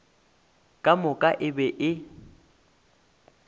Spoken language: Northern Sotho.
ka moka e be e